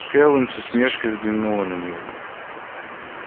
кэлвин с усмешкой взглянула на него